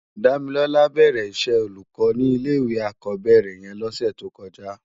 Damilola bèrè iṣè ólúkò ni ilé iwé ákòbèrè yèn lòsè tókòjá